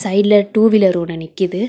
சைடுல two wheeler ஒன்னு நிக்கிது.